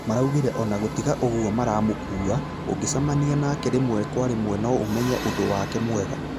Maraugire ona gũtiga ũguo maramũkua, ũngĩcamania nake rĩmwe kwa rĩmwe no ũmenye ũndũ wake mwega